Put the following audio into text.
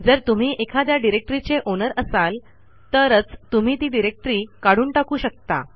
जर तुम्ही एखाद्या डिरेक्टरीचे ओनर असाल तरच तुम्ही ती डिरेक्टरी काढून टाकू शकता